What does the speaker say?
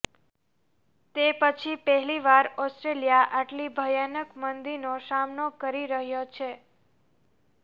તે પછી પહેલીવાર ઓસ્ટ્રેલિયા આટલી ભયાનક મંદીનો સામનો કરી રહ્યો છે